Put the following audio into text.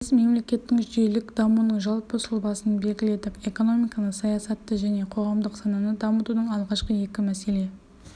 біз мемлекеттің жүйелік дамуының жалпы сұлбасын белгіледік экономиканы саясатты және қоғамдық сананы дамытудың алғашқы екі мәселе